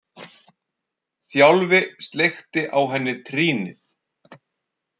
Þjálfi sleikti á henni trýnið.